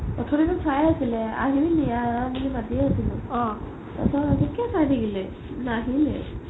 প্ৰথম সেইখন চাই আছিলে আহিলি নেকি আহ আহ বুলি মাতিয়ে আছিলো তাৰ পিছত সেইটোকে চাই থাকিলে নাহিলে